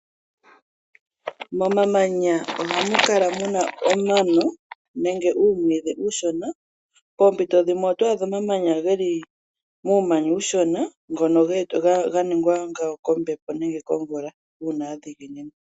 Momamanya ohamu kala muna omano nenge uumwidhi uushona poompiito dhimwe oto adha omamanya geli muumanya uushona ngono ga ningwa ngayo kombepo uuna ya dhiginina.